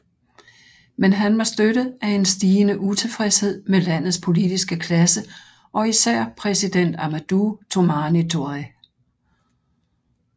Men han var støttet af en stigende utilfredshed med landets politiske klasse og især præsident Amadou Toumani Touré